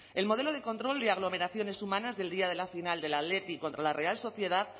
el modelo de control de aglomeraciones humanas del día de la final del athletic contra la real sociedad